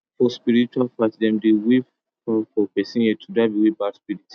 for spiritual fight dem dey wave fowl for person head to drive away bad spirit